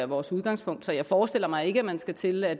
vores udgangspunkt så jeg forestiller mig ikke at man skal til at